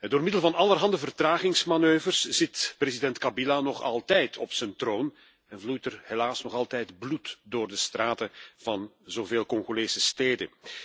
Door middel van allerhande vertragingsmanoeuvres zit president Kabila nog altijd op zijn troon en vloeit er helaas nog altijd bloed door de straten van zoveel Congolese steden.